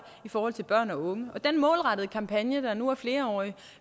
i forhold til børn og unge den målrettede kampagne der nu er flerårig